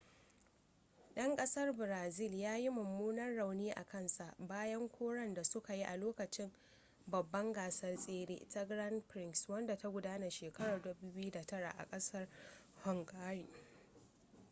'dan kasar brazil ya ji mummunan rauni a kansa bayan karon da suka yi a lokacin babbar gasar tsere ta grand prix wadda ta gudana shekarar 2009 a kasar hungary